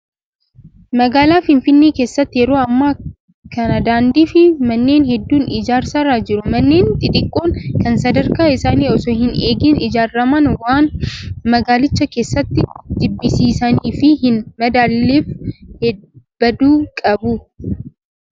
Magaalaa Finfinnee keessatti yeroo ammaa kana daandii fi manneen hedduun ijaarsarra jiru. Manneen xixiqqoon kan sadarkaa isaanii osoo hin eegin ijaaraman waan magaalicha keessatti jibbisiisanii fi hin madaalleef baduu qabu.